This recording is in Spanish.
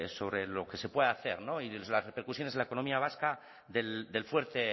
sobre lo que se puede hacer y las repercusiones en la economía vasca del fuerte